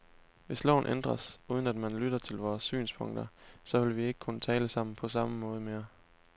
Hvis loven ændres, uden at man lytter til vores synspunkter, så vil vi ikke kunne tale sammen på samme måde mere.